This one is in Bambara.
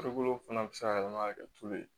Farikolo fana be se ka yɛlɛma ka kɛ tulu ye